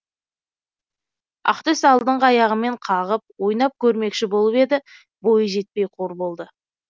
ақтөс алдыңғы аяғымен қағып ойнап көрмекші болып еді бойы жетпей қор болды